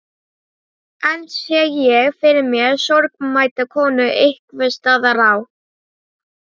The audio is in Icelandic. Enn sé ég fyrir mér sorgmædda konu einhvers staðar á